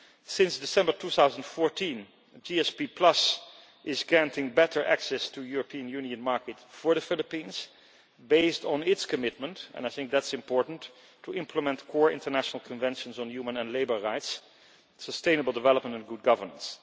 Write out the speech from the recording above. Since December 2014, GSP is granting better access to the European Union market for the Philippines, based on its commitment and I think that is important to implement core international conventions on human and labour rights, sustainable development and good governance.